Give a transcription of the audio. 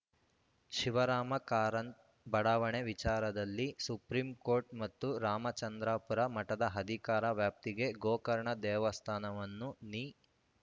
ಶಿವರಾಮ ಕಾರಂತ್ ಬಡಾವಣೆ ವಿಚಾರದಲ್ಲಿ ಸುಪ್ರೀಂಕೋರ್ಟ್‌ ಮತ್ತು ರಾಮಚಂದ್ರಾಪುರ ಮಠದ ಅಧಿಕಾರ ವ್ಯಾಪ್ತಿಗೆ ಗೋಕರ್ಣ ದೇವಸ್ಥಾನವನ್ನು ದಿ